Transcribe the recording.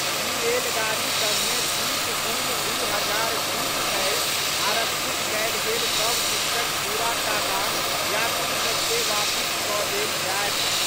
ई रेलगाड़ी सभ मे तीस जून दू हजार बीस धरि आरक्षित कयल गेल सभ टिकटक पूरा टाका यात्री सभ के वापिस कऽ देल जायत।